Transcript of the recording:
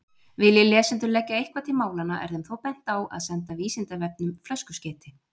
Vilji lesendur leggja eitthvað til málanna er þeim þó bent á að senda Vísindavefnum flöskuskeyti.